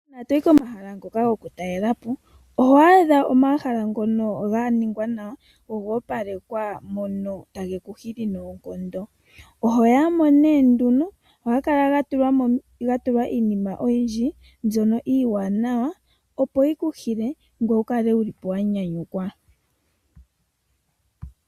Ngele toyi komahala gokutalelwapo, oho adha ga longekidhwa nawa, goopala nomomukalo muka otaga vulu geku hile. Ohaga kala gena iinima iiwanawa lela ngaashi omalapi omawanawa ngoka gayalwa piitaafula nayilwe oyindji. Ngele ehala olya opla nawa, ohaliku hili ngweye tokalapi nduno wuuvite nawa.